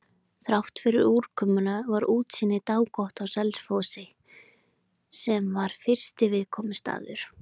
Þráttfyrir úrkomuna var útsýni dágott á Selfossi, sem var fyrsti viðkomustaður.